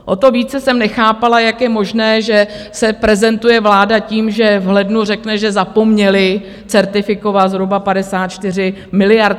O to více jsem nechápala, jak je možné, že se prezentuje vláda tím, že v lednu řekne, že zapomněli certifikovat zhruba 54 miliard.